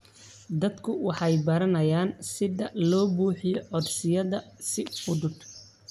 Dadku waxay baranayaan sida loo buuxiyo codsiyada si fudud.